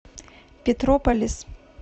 петрополис